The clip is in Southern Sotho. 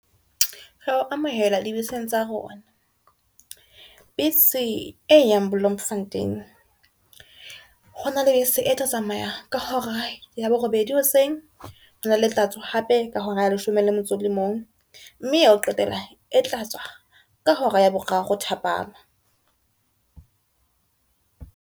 Rea o amohela di beseng tsa rona. Bese e yang Bloemfontein, hona le bese e tla tsamaya ka hora ya borobedi di hoseng, hona le e tla tswa hape ka hora ya leshome le motso o le mong, mme ya ho qetela e tla tswa ka hora ya boraro thapama.